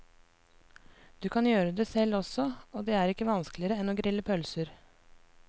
Du kan gjøre det selv også, og det er ikke vanskeligere enn å grille pølser.